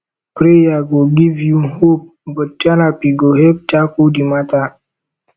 prayer go giv yu hope but therapy go help tackle di mata